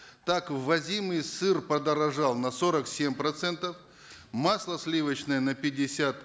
так ввозимый сыр подорожал на сорок семь процентов масло сливочное на пятьдесят